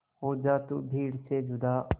हो जा तू भीड़ से जुदा